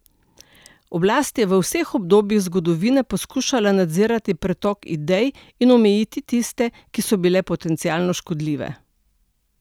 Oblast je v vseh obdobjih zgodovine poskušala nadzirati pretok idej in omejiti tiste, ki so bile potencialno škodljive.